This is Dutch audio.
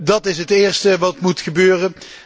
Dat is het eerste wat moet gebeuren.